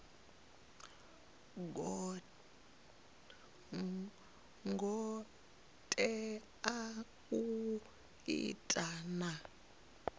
ngo tea u ima na